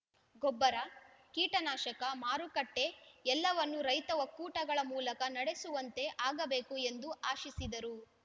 ಗೊಬ್ಬರ ಕೀಟನಾಶಕ ಮಾರುಕಟ್ಟೆಎಲ್ಲವನ್ನು ರೈತ ಒಕ್ಕೂಟಗಳ ಮೂಲಕ ನಡೆಸುವಂತೆ ಆಗಬೇಕು ಎಂದು ಆಶಿಸಿದರು